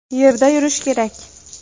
Yerda yurish kerak.